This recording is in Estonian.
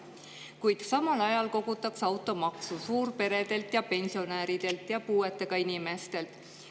Kuid samal ajal kogutakse automaksu suurperedelt, pensionäridelt ja puuetega inimestelt.